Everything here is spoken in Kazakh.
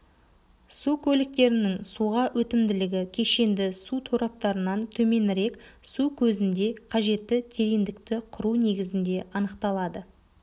су көліктерінің суға өтімділігі кешенді су тораптарынан төменірек су көзінде қажетті тереңдікті құру негізінде анықталады